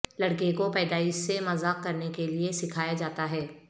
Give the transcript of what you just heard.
لڑکے کو پیدائش سے مذاق کرنے کے لئے سکھایا جاتا ہے